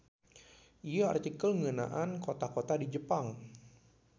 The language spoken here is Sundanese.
Ieu artikel ngeunaan kota-kota di Jepang.